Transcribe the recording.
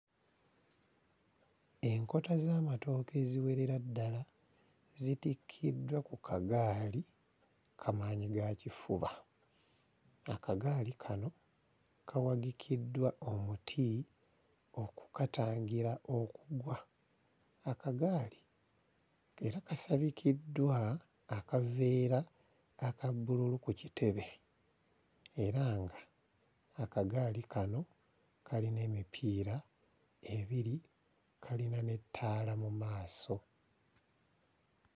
Enkota z'amatooke eziwerera ddala zitikiddwa ku kagaali kamaanyigakifuba, akagaali kano kawagikiddwa omuti okukatangira okugwa. Akagaali era kasabikiddwa akaveera aka bbululu ku kitebe era nga akagaali kano kalina emipiira ebiri, kayina n'ettaala mu maaso.